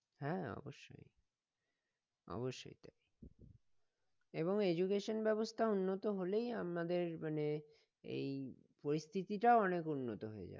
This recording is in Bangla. হ্যাঁ অবশ্যই অবশ্যই এবং education ব্যবস্থা উন্নত হলেই আমাদের মানে এই পরিস্থিতিটাও অনেক উন্নত হয়ে যাবে